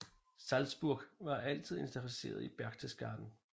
Salzburg var altid interesseret i Berchtesgaden